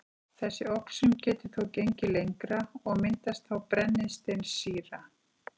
Þessi oxun getur þó gengið lengra, og myndast þá brennisteinssýra